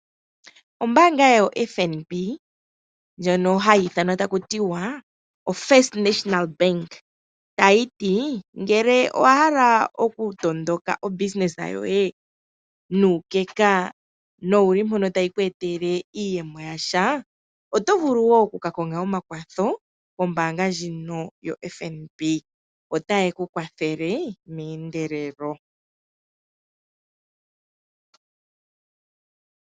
Ombaanga yo FNB. Ndjono hayi ithanwa taku tiwa o First National Bank. Tayi ti, ngele owa hala oku tondoka obusiness yoye nuukeka nowu li mpono tayi ku etele iiyemo yasha, oto vulu wo oku ka konga omakwatho kombaanga ndjino yo FNB. Otaye ku kwathele meendelelo.